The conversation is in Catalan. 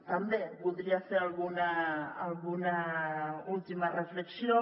també voldria fer alguna última reflexió